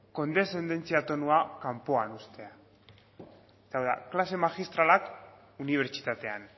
kondeszendentzia tonua kanpoan uztea eta hau da klase magistralak unibertsitatean